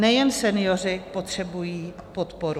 Nejen senioři potřebují podporu.